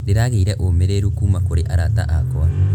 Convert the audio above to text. Ndĩragĩire ũũmĩrĩru kuuma kũrĩ arata akwa.